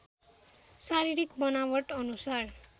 शारीरिक बनावट अनुसार